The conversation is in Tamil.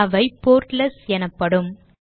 அவை போர்ட்லெட்ஸ் எனப்படும்